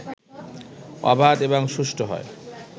অবাধ এবং সুষ্ঠু হয়